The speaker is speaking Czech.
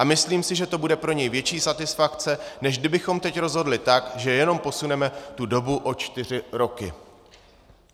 A myslím si, že to bude pro něj větší satisfakce, než kdybychom teď rozhodli tak, že jenom posuneme tu dobu o čtyři roky."